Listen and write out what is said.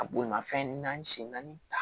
A bolimafɛn naani sen naani